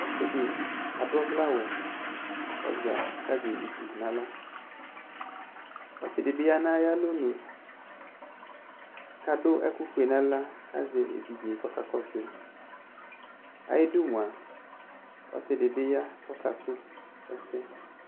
Ɔsɩ dɩ adʋ ɔvlɛ aɣʋ kʋ ɔza, kʋ azɛ evidze nʋ aɣla Ɔsɩ dɩ bɩ ya nʋ ayʋ alɔnʋ kʋ adʋ ɛkʋ ofue nʋ aɣla, kʋ azɛ evidze kʋ ɔka kɔsʋ yɩ Ayu ɩdʋ mʋa ɔsɩ dɩ bɩ ya kʋ ɔka sʋ ɛsɛ